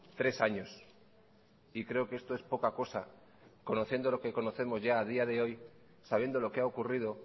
tres años y creo que esto es poca cosa conociendo lo que conocemos a día de hoy sabiendo lo que ha ocurrido